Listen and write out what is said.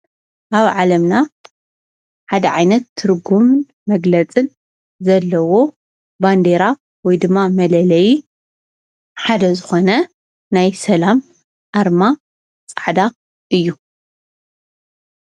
አብ ዓለምና ሓደ ዓይነት ትርጉም መግለፅን ዘለዎ ባንዴራ ወይ ድማ መለለዪ ሓደ ዝኮነ ናይ ሰላም አርማ ፃዕዳ እዩ።